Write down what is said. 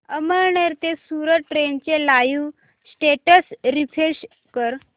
अमळनेर ते सूरत ट्रेन चे live status refresh कर